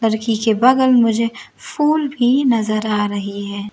लड़की के बगल मुझे फूल भी नजर आ रही है।